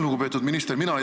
Lugupeetud minister!